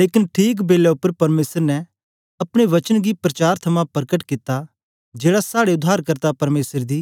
लेकन ठीक बेलै उपर परमेसर ने अपने वचन गी प्रचार थमां परकट कित्ता जेड़ा साड़े उद्धारकर्ता परमेसर दी